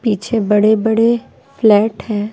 पीछे बड़े-बड़े फ्लैट हैं।